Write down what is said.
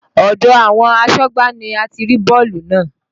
Odò àwọn asọ́gbà ni a ti rí bọ́ọ̀lù náà.